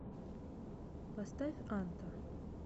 поставь анта